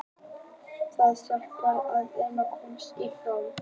Það hjálpar þér að komast í form.